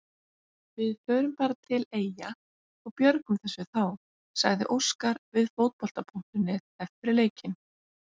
Við förum bara til Eyja og björgum þessu þá, sagði Óskar við Fótbolta.net eftir leikinn.